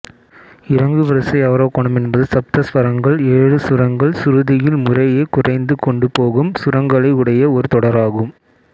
இறங்குவரிசை அவரோகணம் என்பது சப்தஸ்வரங்கள் ஏழுசுரங்கள் சுருதியில் முறையே குறைந்து கொண்டு போகும் சுரங்களை உடைய ஒரு தொடராகும்